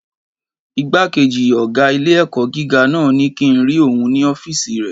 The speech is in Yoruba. Ìgbákejì ọgá ilé-ẹ̀kọ́ gíga náà ní kíi n rí òun ní ọ́fìsì rẹ̀